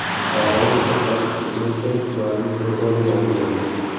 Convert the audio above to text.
Sog‘ayish ko‘rsatkichi bo‘yicha yozning rekordi yangilandi.